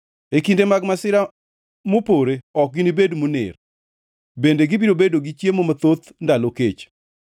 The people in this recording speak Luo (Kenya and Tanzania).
E kinde mag masira mopore ok ginibed moner, bende gibiro bedo gi chiemo mathoth ndalo kech.